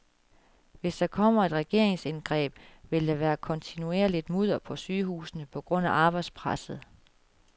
Hvis der kommer et regeringsindgreb, vil der være kontinuerligt mudder på sygehusene på grund af arbejdspresset.